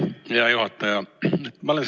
Hea juhataja!